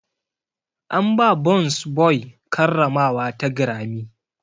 An ba burns boy karramawa ta Grammy.